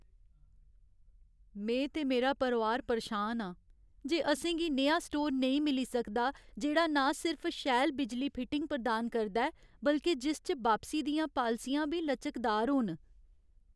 में ते मेरा परोआर परेशान आं जे असें गी नेहा स्टोर नेईं मिली सकदा जेह्ड़ा ना सिर्फ शैल बिजली फिटिंग प्रदान करदा ऐ बल्के जिस च बापसी दियां पालसियां बी लचकदार होन।